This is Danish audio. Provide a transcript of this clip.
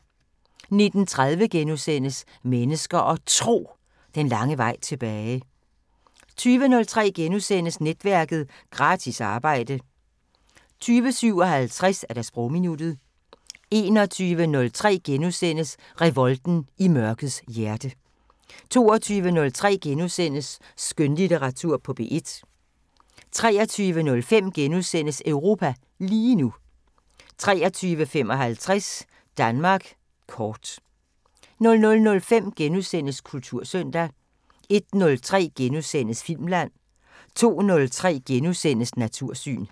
19:30: Mennesker og Tro: Den lange vej tilbage * 20:03: Netværket: Gratis arbejde * 20:57: Sprogminuttet 21:03: Revolten i mørkets hjerte * 22:03: Skønlitteratur på P1 * 23:05: Europa lige nu * 23:55: Danmark kort 00:05: Kultursøndag * 01:03: Filmland * 02:03: Natursyn *